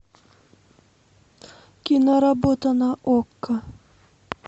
киноработа на окко